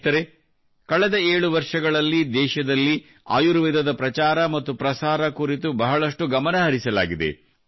ಸ್ನೇಹಿತರೆ ಕಳೆದ 7 ವರ್ಷಗಳಲ್ಲಿ ದೇಶದಲ್ಲಿ ಆಯುರ್ವೇದದ ಪ್ರಚಾರ ಮತ್ತು ಪ್ರಸಾರ ಕುರಿತು ಬಹಳಷ್ಟು ಗಮನಹರಿಸಲಾಗಿದೆ